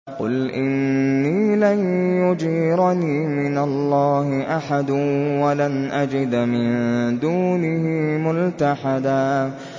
قُلْ إِنِّي لَن يُجِيرَنِي مِنَ اللَّهِ أَحَدٌ وَلَنْ أَجِدَ مِن دُونِهِ مُلْتَحَدًا